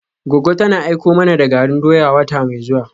Goggo tana aiko mana da garin doya wata mai zuwa.